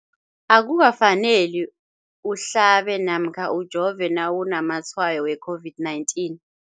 Akuka faneli uhlabe namkha ujove nawu namatshayo we-COVID-19.